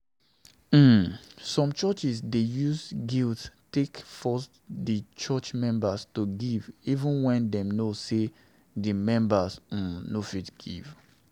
um Some churches dey use guilt take force the church members to give even when dem know sey di members um no fit give